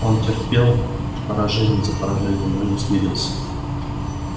он терпел поражение за поражением но не смирился